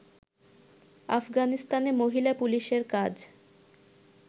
আফগানিস্তানে মহিলা পুলিশের কাজ